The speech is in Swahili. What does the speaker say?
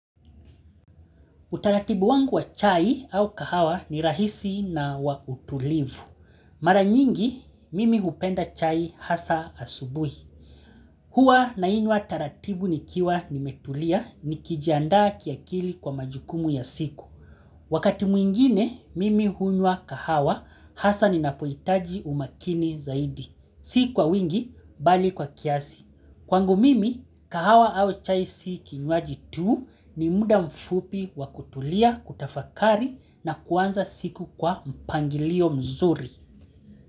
Utaratibu wangu wa chai au kahawa ni rahisi na wa utulivu. Mara nyingi, mimi hupenda chai hasa asubuhi. Huwa nainywa taratibu nikiwa nimetulia nikijiandaa kiakili kwa majukumu ya siku. Wakati mwingine, mimi hunywa kahawa hasa ninapohitaji umakini zaidi. Si kwa wingi, bali kwa kiasi. Kwangu mimi kahawa au chai si kinywaji tu, ni muda mfupi wa kutulia, kutafakari na kuanza siku kwa mpangilio mzuri.